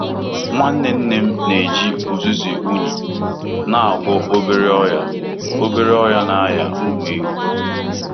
Nwanne Nne m na-eji uzuzu unyi na-agwọ obere ọrịa obere ọrịa na aria ụmụ ewu.